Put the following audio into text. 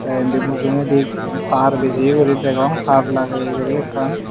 te indi mujungedi tar bijeye guri degong tar lageye guri ekkan.